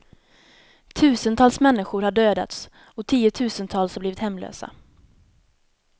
Tusentals människor har dödats och tiotusentals har blivit hemlösa.